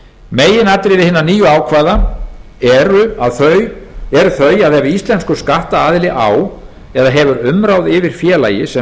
meginatriði hinna nýju ákvæða eru þau að ef íslenskur skattaðili á eða hefur umráð yfir félagi sem